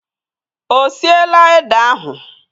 Ọ siela ede ahụ?